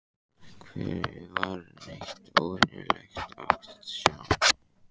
Hvergi var neitt óvenjulegt að sjá.